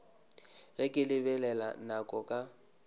ge ke lebelela nako ka